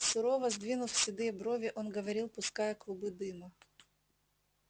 сурово сдвинув седые брови он говорил пуская клубы дыма